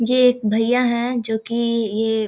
ये एक भैया है जो की ये --